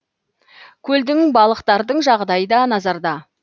көлдің балықтардың жағдайы да назарда